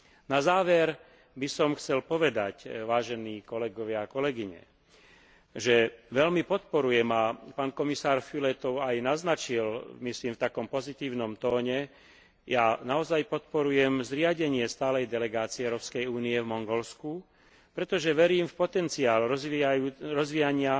Na záver by som chcel povedať, vážení kolegovia a kolegyne, že veľmi podporujem, a pán Komisár Füle to aj naznačil myslím v takom pozitívnom tóne, ja naozaj podporujem zriadenie stálej delegácie Európskej únie v Mongolsku, pretože verím v potenciál rozvíjania